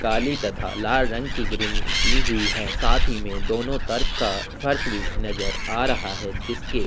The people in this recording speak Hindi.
काली तथा लाल रंग की ग्रेविंग की हुई है साथ ही में दोनों तरफ का फर्श भी नजर आ रहा है जिसके --